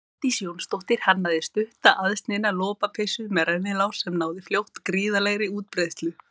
Védís Jónsdóttir hannaði stutta aðsniðna lopapeysu með rennilás sem náði fljótt gríðarlegri útbreiðslu.